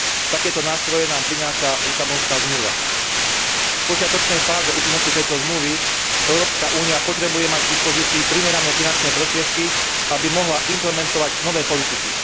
Takéto nástroje nám prináša Lisabonská zmluva. V počiatočnej fáze účinnosti tejto zmluvy Európska únia potrebuje mať k dispozícii primerané finančné prostriedky, aby mohla implementovať nové politiky.